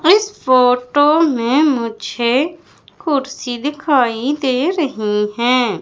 इस फोटो में मुझे कुर्सी दिखाई दे रही हैं।